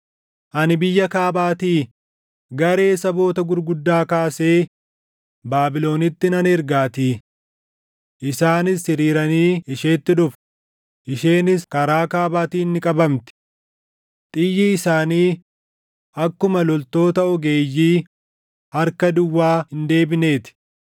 Ani biyya kaabaatii garee saboota gurguddaa kaasee Baabilonitti nan ergaatii. Isaanis hiriiranii isheetti dhufu; isheenis karaa kaabaatiin ni qabamti. Xiyyi isaanii akkuma loltoota ogeeyyii harka duwwaa hin deebinee ti.